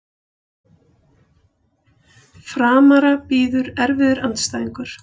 Framara bíður erfiður andstæðingur